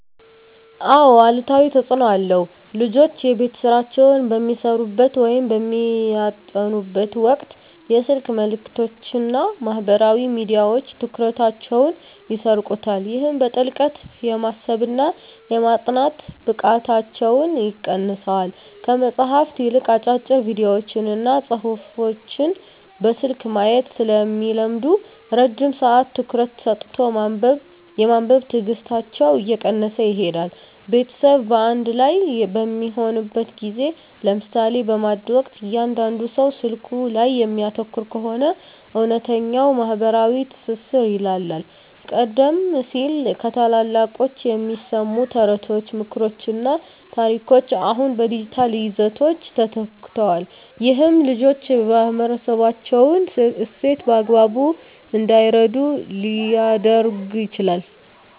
አዎ አሉታዊ ተፅኖ አለው። ልጆች የቤት ሥራቸውን በሚሠሩበት ወይም በሚያጠኑበት ወቅት የስልክ መልእክቶችና ማኅበራዊ ሚዲያዎች ትኩረታቸውን ይሰርቁታል። ይህም በጥልቀት የማሰብና የማጥናት ብቃታቸውን ይቀንሰዋል። ከመጽሐፍት ይልቅ አጫጭር ቪዲዮዎችንና ጽሑፎችን በስልክ ማየት ስለሚለምዱ፣ ረጅም ሰዓት ትኩረት ሰጥቶ የማንበብ ትዕግሥታቸው እየቀነሰ ይሄዳል። ቤተሰብ በአንድ ላይ በሚሆንበት ጊዜ (ለምሳሌ በማዕድ ወቅት) እያንዳንዱ ሰው ስልኩ ላይ የሚያተኩር ከሆነ፣ እውነተኛው ማኅበራዊ ትስስር ይላላል። ቀደም ሲል ከታላላቆች የሚሰሙ ተረቶች፣ ምክሮችና ታሪኮች አሁን በዲጂታል ይዘቶች ተተክተዋል። ይህም ልጆች የማኅበረሰባቸውን እሴት በአግባቡ እንዳይረዱ ሊያደርግ ይችላል።